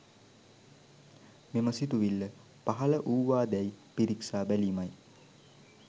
මෙම සිතුවිල්ල පහළ වූවාදැයි පිරික්සා බැලීමයි